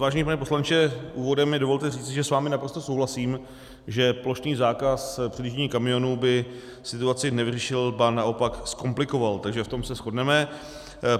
Vážený pane poslanče, úvodem mi dovolte říci, že s vámi naprosto souhlasím, že plošný zákaz předjíždění kamiónů by situaci nevyřešil, ba naopak zkomplikoval, takže v tom se shodneme.